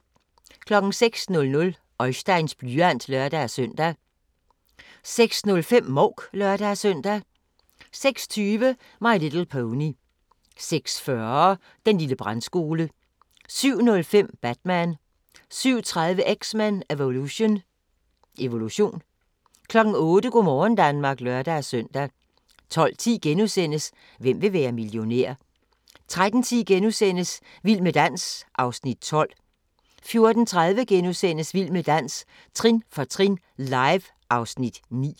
06:00: Oisteins blyant (lør-søn) 06:05: Mouk (lør-søn) 06:20: My Little Pony 06:40: Den lille brandskole 07:05: Batman 07:30: X-Men: Evolution 08:00: Go' morgen Danmark (lør-søn) 12:10: Hvem vil være millionær? * 13:10: Vild med dans (Afs. 12)* 14:30: Vild med dans – trin for trin, live (Afs. 9)*